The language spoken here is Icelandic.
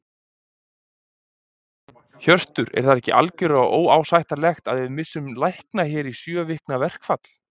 Hjörtur: Er það ekki algjörlega óásættanlegt að við missum lækna hér í sjö vikna verkfall?